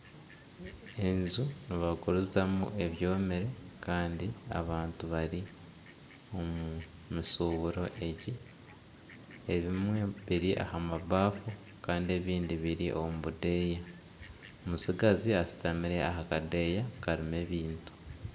Enju nibagurizamu ebyomire kandi abantu bari omu mishuburo egyi. Ebimwe biri aha mabaafu Kandi ebindi biri omu budeya. Omutsigazi ashutamire aha kadeeya karimu ebintu.